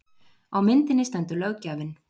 Á myndinni stendur löggjafinn